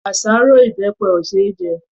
Àṣárọ́ ìbẹpẹ ò ṣe é jẹ.